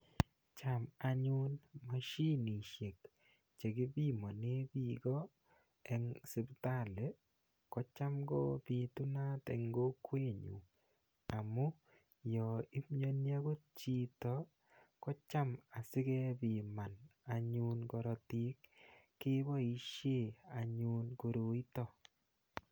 Cham anyun moshinishek chekipimone biiko eng sipitali kocham kobitunat eng kokwenyu amu yo imioni akot chito ko cham asikepiman anyun korotik keboishe anyun koroito.